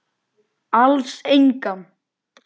Alls engan.